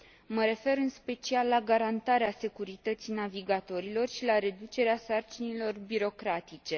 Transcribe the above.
Mă refer în special la garantarea securității navigatorilor și la reducerea sarcinilor birocratice.